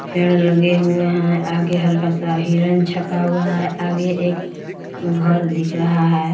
पेड़ लगे हुए है आगे हल्का सा हिरन छपा हुआ है आगे एक घर दिख रहा है।